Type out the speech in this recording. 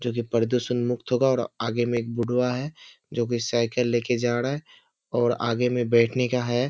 जो की प्रदुषण मुक्त होगा और आगे में एक बुढ़वा है जो की साइकिल लेके जा रहा है और आगे मैं बैठने का है।